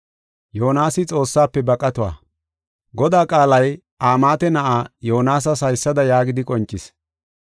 Godaa qaalay Amaate na7aa, Yoonasas haysada yaagidi qoncis.